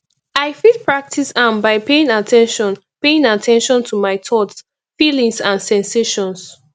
i fit practice am by paying at ten tion paying at ten tion to my thoughts feelings and sensations